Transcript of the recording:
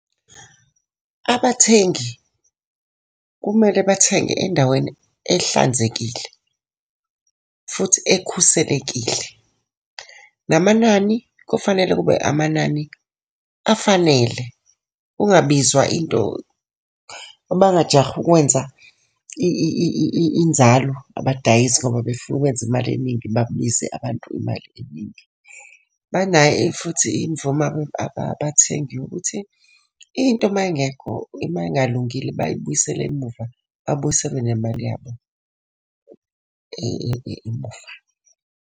Abathengi kumele bathenge endaweni ehlanzekile futhi ekhuselekile. Namanani kufanele kube amanani afanele kungabizwa into, abangajahi ukwenza inzalo abadayisi ngoba befuna ukwenza imali eningi babize abantu imali eningi. Banayo futhi imvume abathengi ukuthi into uma ingekho, uma ingalungile bayibuyisele emuva, babuyiselwe nemali yabo emuva.